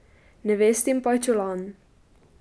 Nevestin pajčolan.